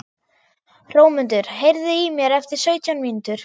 Hrómundur, heyrðu í mér eftir sautján mínútur.